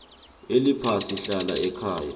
eliphasi hlala ekhaya